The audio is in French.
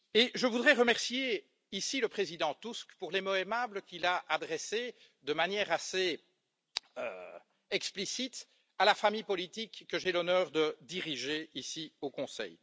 Je voudrais remercier ici le président Tusk pour les mots aimables qu'il a adressés de manière assez explicite à la famille politique que j'ai l'honneur de diriger ici au Conseil.